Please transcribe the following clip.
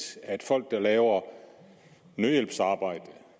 at folk der laver nødhjælpsarbejde